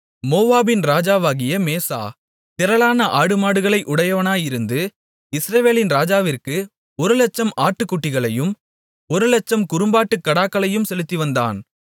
மோவாபின் ராஜாவாகிய மேசா திரளான ஆடுமாடுகளை உடையவனாயிருந்து இஸ்ரவேலின் ராஜாவிற்கு ஒரு இலட்சம் ஆட்டுக்குட்டிகளையும் ஒரு இலட்சம் குறும்பாட்டுக் கடாக்களையும் செலுத்திவந்தான்